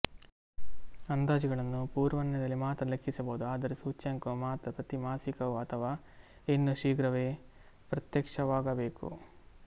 ಅಂದಾಜುಗಳನ್ನು ಪೂರ್ವಾನ್ವಯದಲ್ಲಿ ಮಾತ್ರ ಲೆಕ್ಕಿಸಬಹುದು ಆದರೆ ಸೂಚ್ಯಂಕವು ಮಾತ್ರ ಪ್ರತಿ ಮಾಸಿಕವೂ ಅಥವಾ ಇನ್ನೂ ಶೀಘ್ರವೇ ಪ್ರತ್ಯಕ್ಷವಾಗಬೇಕು